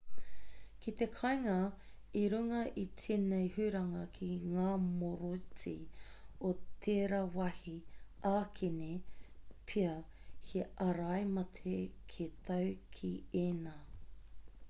ki te kāinga i runga i tēnei huranga ki ngā moroiti o tērā wāhi ākene pea he ārai mate kē tāu ki ēnā